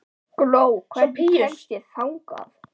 Gló, hvernig kemst ég þangað?